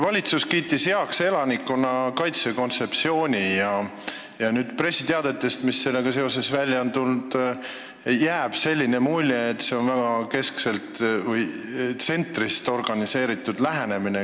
Valitsus kiitis heaks elanikkonnakaitse kontseptsiooni ja pressiteadetest, mis sellega seoses välja on tulnud, jääb mulje, et see tugineb tsentrist organiseerimisele.